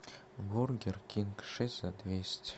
бургер кинг шесть за двести